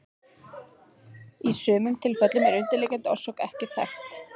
Í sumum tilfellum er undirliggjandi orsök ekki þekkt.